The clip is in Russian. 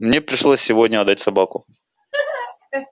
мне пришлось сегодня отдать собаку